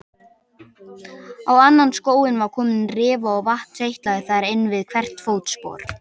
Á annan skóinn var komin rifa og vatn seytlaði þar inn við hvert fótspor.